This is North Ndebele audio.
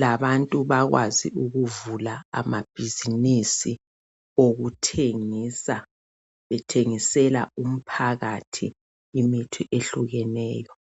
labantu bakwazi ukuvula amabhizimisi okuthengisa bethengisela umphakathi imithi ehlukeneyo.